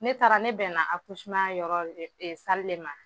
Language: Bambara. Ne taara ne bɛnna a yɔrɔ e de ma.